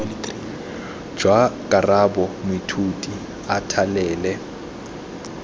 jwa karabo moithuti a thalele